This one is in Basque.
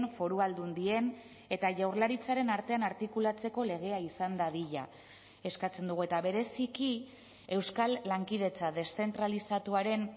foru aldundien eta jaurlaritzaren artean artikulatzeko legea izan dadila eskatzen dugu eta bereziki euskal lankidetza deszentralizatuaren